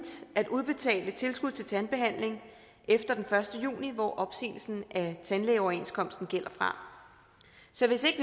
at udbetale tilskud til tandbehandling efter den første juni hvor opsigelsen af tandlægeoverenskomsten gælder fra så hvis